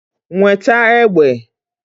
Nweta egbe!